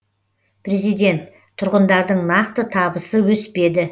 президент тұрғындардың нақты табысы өспеді